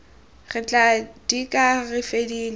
re tla dika re fedile